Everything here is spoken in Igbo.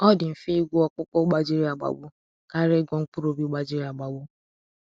Ọ dị mfe ịgwọ ọkpụkpụ gbajiri agbagbu karịa ịgwọ mkpụrụ obi gbajiri agbagbu.